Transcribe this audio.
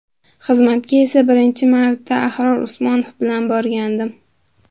Xizmatga esa birinchi marta Ahror Usmonov bilan borgandim.